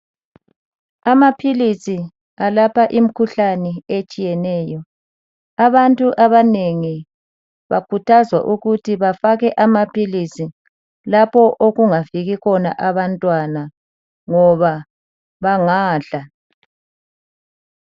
Amaphilisi elapha imikhuhlane etshiyeneyo. Abantu abanengi bakhuthazwa ukuthi bengafaki amaphilisi lapho okufika khona abantwana ngoba bengawadla.